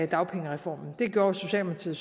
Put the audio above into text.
dagpengereformen det gjorde socialdemokratiet